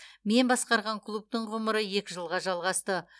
мен басқарған клубтың ғұмыры екі жылға жалғасты